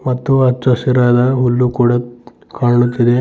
ಮತ್ತು ಹಚ್ಚು ಹಸಿರಾದ ಹುಲ್ಲು ಕೂಡ ಕಾಣುತ್ತಿದೆ.